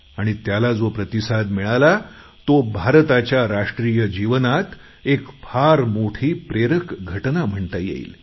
आणि त्याला जो प्रतिसाद मिळाला तो भारताच्या राष्ट्रीय जीवनात एक फार मोठी प्रेरक घटना म्हणता येईल